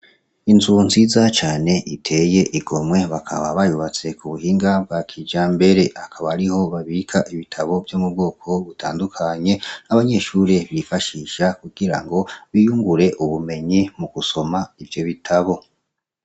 Inzu nziza cane iteye igomwe ,bakaba bayubatse k'ubuhinga bwa kijambere, akaba ariho babika ibitabo vyo m'ubwoko butandukanye, abanyeshure bifashisha kugirango biyungure ubumenyi mugusoma ivyo bitabo.